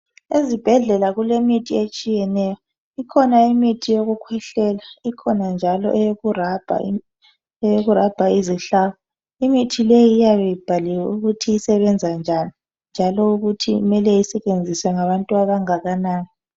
Ezibhedlela kule mithi etshiyeneyo ikhona imithi yokukhwehlela ikhona njalo eyoku rabha izihlabo . Imithi leyi iyabe ibhaliwe ukuthi isebenza njani njalo ukuthi kumele isetshenziswe ngabantu abangakanani